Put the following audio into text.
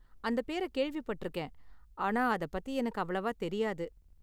அந்த பேர கேள்விப்பட்டிருக்கேன், ஆனா அத பத்தி எனக்கு அவ்வளவா தெரியாது.